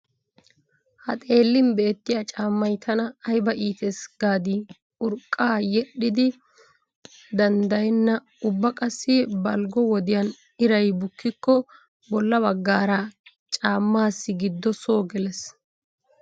Ha xeellin beettiya caammay tana ayba iitees gaadii urqqa yedhdhin danddayenna ubba qassi balggo wodiyan iray bukkikko bolla baggaara caammaassi giddo soo gelees.